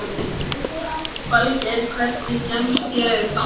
Falgeir, hvernig kemst ég þangað?